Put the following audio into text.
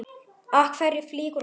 Af hverju flýgur hún upp?